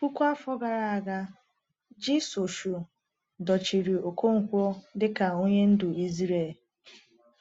Puku afọ gara aga, Jisọshụ dochiri Okonkwo dịka onye ndu Izrel.